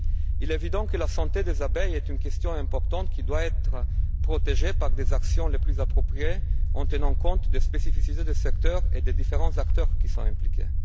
Il est évident que la santé des abeilles est une question importante et qu'elle doit être protégée par les actions les plus appropriées, en tenant compte des spécificités du secteur et des différents acteurs qui sont impliqués.